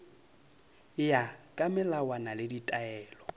ya ka melawana le ditaelo